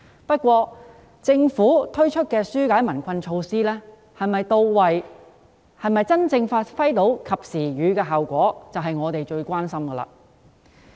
不過，政府推出的紓解民困措施是否到位及能否真正發揮"及時雨"的效果，是我們最關心的。